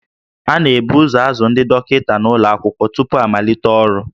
A na-ebu ụzọ azụ ndị dọkịta n'ụlọ akwụkwọ tupu ha amalite ọrụ